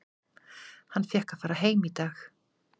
Hann fékk að fara heim í dag.